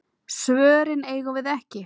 Svörin eigum við ekki.